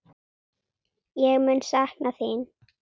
Ég mun sakna þín.